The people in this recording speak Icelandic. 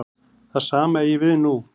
Það sama eigi við nú.